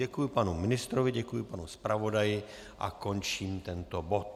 Děkuji panu ministrovi, děkuji panu zpravodaji a končím tento bod.